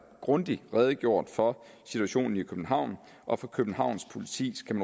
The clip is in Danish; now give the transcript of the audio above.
grundigt redegjort for situationen i københavn og for københavns politis kan